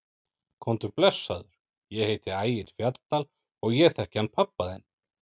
Komdu blessaður, ég heiti Ægir Fjalldal og ég þekki hann pabba þinn!